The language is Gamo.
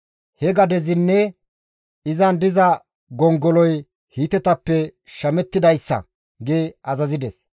He gadezinne izan diza gongoloy Hiitetappe shamettidayssa» gi azazides.